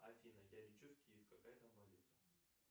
афина я лечу в киев какая там валюта